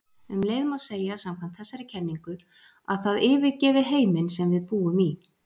Um leið má segja samkvæmt þessari kenningu að það yfirgefi heiminn sem við búum í.